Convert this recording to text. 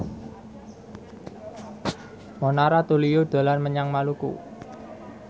Mona Ratuliu dolan menyang Maluku